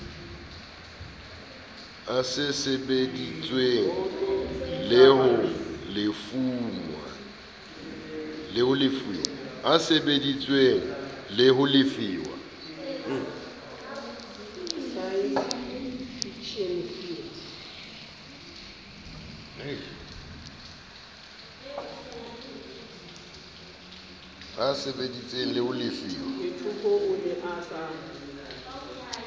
e sebeditswe le ho lefuwa